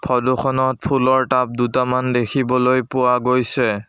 Photo খনত ফুলৰ tub দুটামান দেখিবলৈ পোৱা গৈছে।